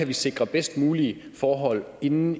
vi sikrer bedst mulige forhold inde